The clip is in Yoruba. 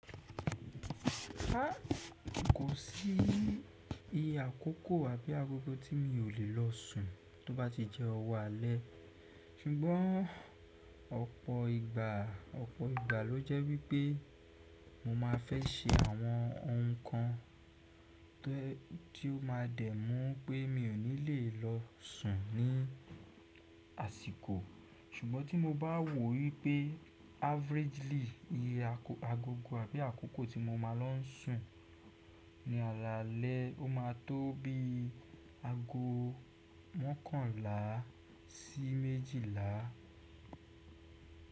Kò sí iye àkókò àbí agogo tí mi ò lè lọ sùn tó bá ti jẹ́ ọwọ́ alẹ́ ṣùgbọ́n ọ̀pọ̀ ìgbà ló jẹ́ wípẹ́ mo máa fẹ́ ṣe àwọn ohun kan to yẹ tí ó máa dẹ́ mú pé mi ò ní lè lọ sùn ní àsìkò ṣùgbọ́n tí mo bá wò wípẹ́ averagely iye agogo àbí àkókò tí mo máa lọ sùn ní alaalẹ́ ó máa tó bí i ago mọ́kànlá sí méjìlá.